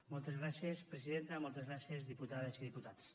moltes gràcies presidenta moltes gràcies diputades i diputats